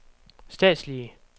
statslige